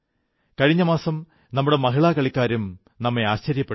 കഴിഞ്ഞ മാസം നമ്മുടെ മഹിളാകളിക്കാരും ആശ്ചര്യപ്പെടുത്തി